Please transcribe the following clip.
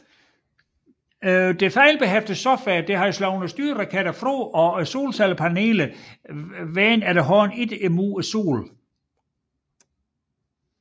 Det fejlbehæftede software havde slået styreraketterne fra og solcellepanelerne vendte efterhånden ikke mod Solen